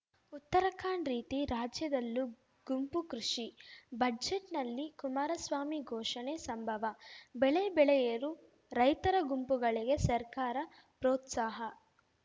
ಉತ್ತರಾಖಂಡ್ ರೀತಿ ರಾಜ್ಯದಲ್ಲೂ ಗುಂಪು ಕೃಷಿ ಬಜೆಟ್‌ನಲ್ಲಿ ಕುಮಾರಸ್ವಾಮಿ ಘೋಷಣೆ ಸಂಭವ ಬೆಳೆ ಬೆಳೆಯಲು ರೈತರ ಗುಂಪುಗಳಿಗೆ ಸರ್ಕಾರ ಪ್ರೋತ್ಸಾಹ